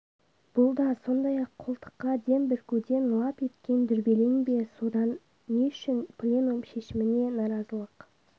бұл да сондай қолтыққа дем бүркуден лап еткен дүрбелең бе сонда не үшін пленум шешіміне наразылық